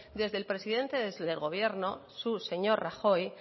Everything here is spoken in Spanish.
desde el presidente del gobierno su señor rajoy